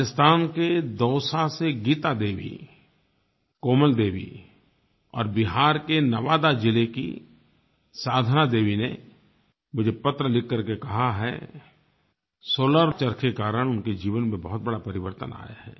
राजस्थान के दौसा से गीता देवी कोमल देवी और बिहार के नवादा ज़िले की साधना देवी ने मुझे पत्र लिखकर कहा है कि सोलार चरखे के कारण उनके जीवन में बहुत परिवर्तन आया है